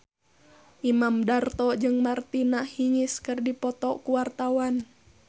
Imam Darto jeung Martina Hingis keur dipoto ku wartawan